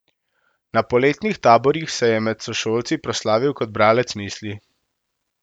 Na poletnih taborih se je med sošolci proslavil kot bralec misli.